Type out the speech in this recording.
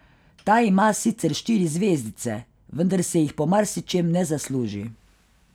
Ta ima sicer štiri zvezdice, vendar si jih po marsičem ne zasluži.